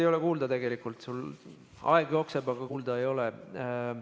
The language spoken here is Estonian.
Ei ole kuulda, tegelikult sul aeg jookseb, aga kuulda ei ole.